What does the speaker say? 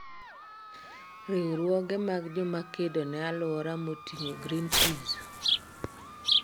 riwruoge mag jomakedo ne alwora moting'o Greenpeaze,